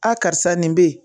A karisa nin be yen